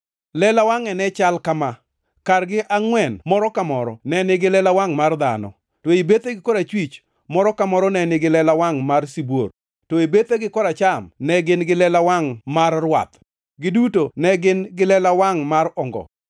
Lela wangʼe ne chal kama: Kargi angʼwen moro ka moro ne nigi lela wangʼ mar dhano, to e bethegi korachwich, moro ka moro ne nigi lela wangʼ mar sibuor, to e bethegi koracham ne gin gi lela wangʼ mar rwath. Giduto ne gin gi lela wangʼ mar ongo.